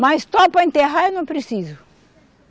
Mas só para enterrar eu não preciso.